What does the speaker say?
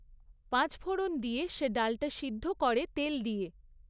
পাঁচফোঁড়ন দিয়ে সে ডালটা সিদ্ধ করে তেল দিয়ে